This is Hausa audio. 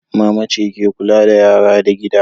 Mama ce ke kulla da yara da gida.